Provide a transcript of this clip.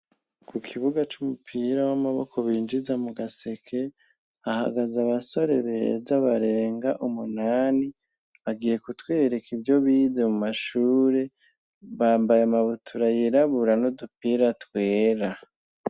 Ku kibuga c'umupira w'amaboko binjiza mu gaseke ahagaze abasore beza barenga umunani ,bagiye kutwereka ivyo bize mu mashure bambaye amabutura yirabura no dupira twera.